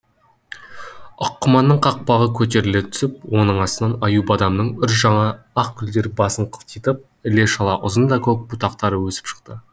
аққұманның қақпағы көтеріле түсіп оның астынан аю бадамның үр жаңа ақ гүлдері басын қылтитып іле шала ұзын да көк бұтақтары өсіп шықты